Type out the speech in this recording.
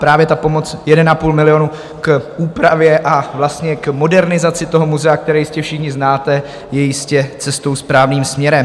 Právě ta pomoc 1,5 milionu k úpravě a vlastně modernizaci toho muzea, které jistě všichni znáte, je jistě cestou správným směrem.